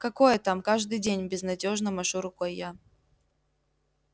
какое там каждый день безнадёжно машу рукой я